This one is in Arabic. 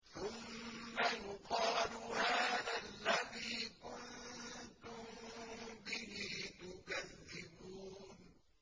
ثُمَّ يُقَالُ هَٰذَا الَّذِي كُنتُم بِهِ تُكَذِّبُونَ